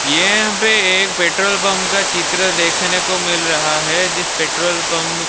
यहां पे एक पेट्रोल पंप का चित्र देखने को मिल रहा है जिस पेट्रोल पंप --